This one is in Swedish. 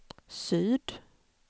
syd